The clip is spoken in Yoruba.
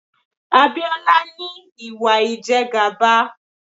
Abiola ní Ìwà ìjẹgàba.